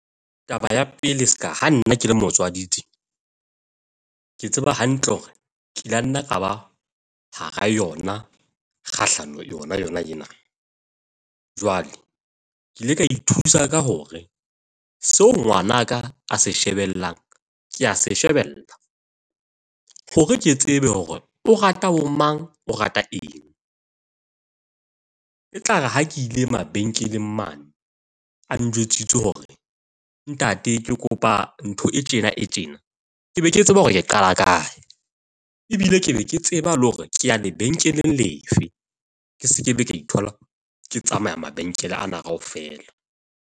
Taba ya pele, se ka ha nna ke le motswadi tje, ke tseba hantle hore ke la nna ka ba hara yona kgahlano yona yona ena. Jwale ke ile ka ithusa ka hore seo ngwana ka a se shebellang ke a se shebella hore ke tsebe hore o rata bomang, o rata eng. E tlare ha ke ile mabenkeleng mane a njwetsitse hore ntate ke kopa ntho e tjena e tjena, ke be ke tseba hore ke qala kae. Ebile ke be ke tseba le hore ke a lebenkeleng lefe. Ke se ke be ka ithola ke tsamaya mabenkele ana kaofela.